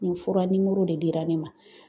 Nin fura nimoro de dira ne ma